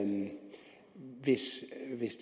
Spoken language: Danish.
det